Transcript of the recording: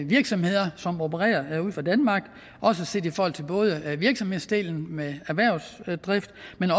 virksomheder som opererer fra danmark set i forhold til både virksomhedsdelen med erhvervsdrift